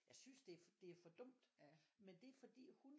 Jeg synes det det er for dumt med det er fordi hun